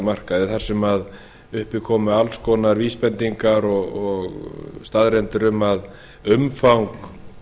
listaverkamarkaði þar sem upp komu alls konar vísbendingar og staðreyndir um að umfang